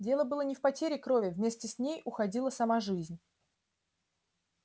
дело было не в потере крови вместе с ней уходила сама жизнь